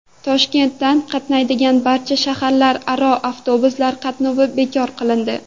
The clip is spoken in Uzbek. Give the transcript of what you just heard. Toshkentdan qatnaydigan barcha shaharlararo avtobuslar qatnovi bekor qilindi.